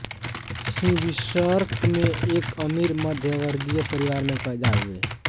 सिंविर्स्क में एक अमीर मध्यमवर्गीय परिवार में पैदा हुए